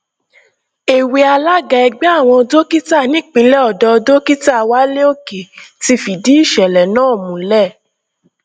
èwe alága ẹgbẹ àwọn dókítà nípìnlẹ ọdọ dókítà wálé òkè ti fìdí ìṣẹlẹ náà múlẹ